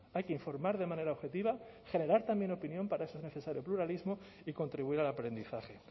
hay que informar de manera objetiva generar también opinión para eso es necesario el pluralismo y contribuir al aprendizaje